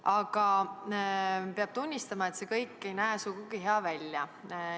Aga peab tunnistama, et see kõik ei näe sugugi hea välja.